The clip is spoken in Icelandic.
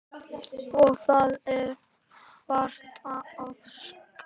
Og það er vart ofsagt.